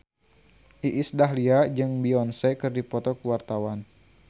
Iis Dahlia jeung Beyonce keur dipoto ku wartawan